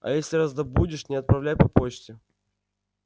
а если раздобудешь не отправляй по почте